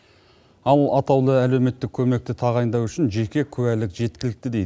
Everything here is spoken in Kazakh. ал атаулы әлеуметтік көмекті тағайындау үшін жеке куәлік жеткілікті дейді